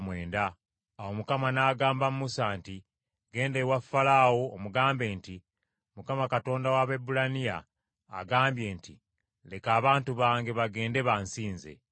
Awo Mukama n’agamba Musa nti, “Genda ewa Falaawo omugambe nti, Mukama Katonda wa Abaebbulaniya agambye nti, ‘Leka abantu bange bagende, bansinze.